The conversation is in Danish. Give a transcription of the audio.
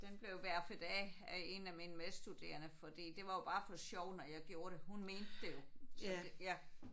Den blev verfet af af en af mine medstuderende fordi det var jo bare for sjov når jeg gjorde det. Hun mente det jo så det ja